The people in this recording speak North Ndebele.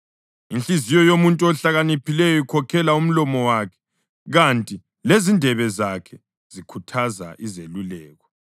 Inhliziyo yomuntu ohlakaniphileyo ikhokhela umlomo wakhe, kanti lezindebe zakhe zikhuthaza izeluleko.